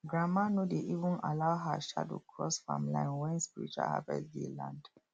grandma no dey even allow her shadow cross farm line when spiritual harvest day land